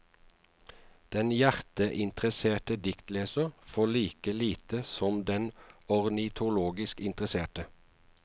Den hjerteinteresserte diktleser får like lite som den ornitologisk interesserte.